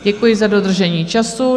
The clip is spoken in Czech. Děkuji za dodržení času.